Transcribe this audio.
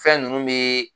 Fɛn ninnu bɛ